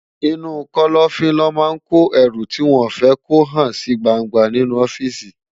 Inú kòlòfin lò má n kó èrú tiwòn fè kó hán si gbángbá ninú òfìsí